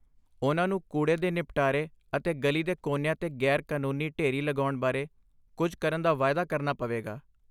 ਉਨ੍ਹਾਂ ਨੂੰ ਕੂੜੇ ਦੇ ਨਿਪਟਾਰੇ ਅਤੇ ਗਲੀ ਦੇ ਕੋਨਿਆਂ 'ਤੇ ਗ਼ੈਰ ਕਾਨੂੰਨੀ ਢੇਰੀ ਲਗਾਉਣ ਬਾਰੇ ਕੁੱਝ ਕਰਨ ਦਾ ਵਾਅਦਾ ਕਰਨਾ ਪਵੇਗਾ।